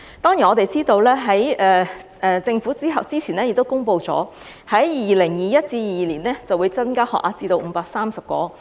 當然，我們知道政府早前已公布，在 2021-2022 年度會增加醫科學額至530個。